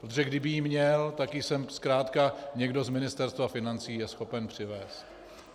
Protože kdyby ji měl, tak ji sem zkrátka někdo z Ministerstva financí je schopen přivézt.